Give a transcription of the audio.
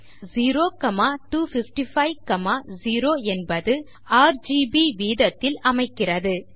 இங்கு 02550 என்பது ஆர்ஜிபி வீதத்தில் அமைக்கிறது